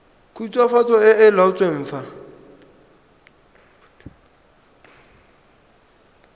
khutswafatso e e laotsweng fa